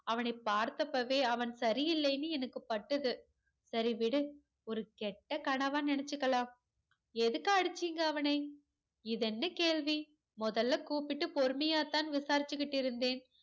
அவனை பார்த்தப்பவே அவன் சரியில்லைன்னு எனக்கு பட்டது சரி விடு ஒரு கெட்ட கனவா நினைச்சிக்கலாம் எதுக்கு அடிச்சிங்க அவனை இதுஎன்ன கேள்வி முதல்ல கூப்பிட்டு பொறுமையாதா விசாரிச்சிட்டு இருந்தேன்